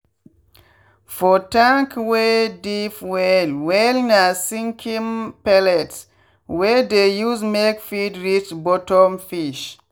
for tank wey deep well wellna sinking pellets we dey use make feed reach bottom fish.